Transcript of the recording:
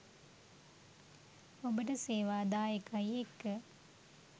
ඔබට සේවා දායකයි එක්ක